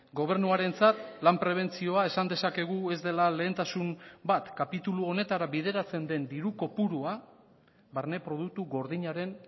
gobernuarentzat lan prebentzioa esan dezakegu ez dela lehentasun bat kapitulu honetara bideratzen den diru kopurua barne produktu gordinaren